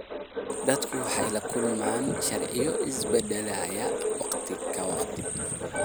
Dadku waxay la kulmaan sharciyo isbedelaya waqti ka waqti.